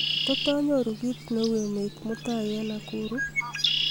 tot anyoru kiit neu emet mutai en nakuru